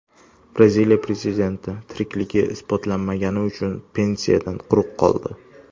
Braziliya prezidenti tirikligini isbotlamagani uchun pensiyadan quruq qoldi.